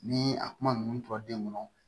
Ni a kuma ninnu tora den kɔnɔ